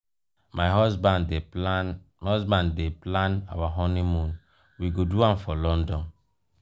my husband dey plan husband dey plan our honeymoon we go do am for london.